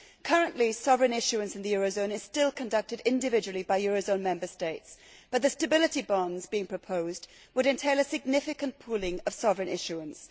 Currently sovereign issuance in the euro zone is still conducted individually by euro zone Member States, but the stability bonds being proposed would entail a significant pooling of sovereign issuance.